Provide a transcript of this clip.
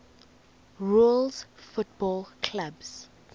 rules football clubs